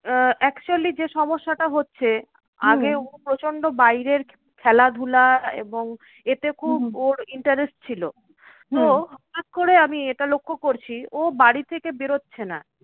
আহ actually যে সমস্যাটা হচ্ছে আগে ও প্রচন্ড বাইরের খেলাধুলা এবং এতে খুব ওর interest ছিল। হটাৎ করে আমি এটা লক্ষ্য করছি, ও বাড়ি থেকে বেরোচ্ছে না